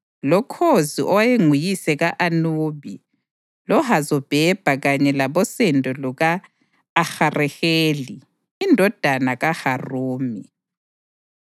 loKhozi owayenguyise ka-Anubi loHazobhebha kanye labosendo luka-Ahareheli indodana kaHarumi.